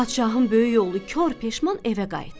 Padşahın böyük oğlu kor peşman evə qayıtdı.